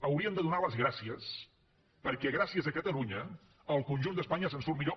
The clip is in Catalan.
haurien de donar les gràcies perquè gràcies a catalunya el conjunt d’espanya se’n surt millor